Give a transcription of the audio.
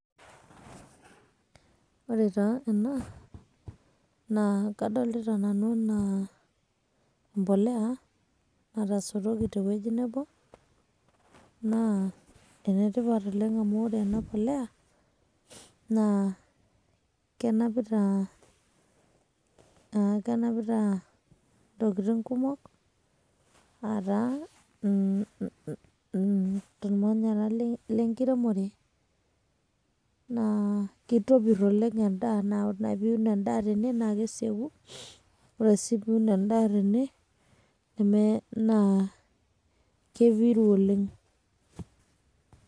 Ore taa ena, na kadolita nanu enaa, empolea natasotoki tewueji nebo, naa enetipat oleng' amu ore ena please, naa kenapita kenapita intokitin' kumok, ah ataa irmanyara lenkiremore. Naa kitobir oleng' endaa amu ore ake piun endaa tene, na keseku. Ore si piun endaa tene, neme naa kepiru oleng'.